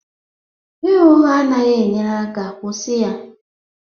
Ịgha ụgha anaghị enyere aka, kwụsị ya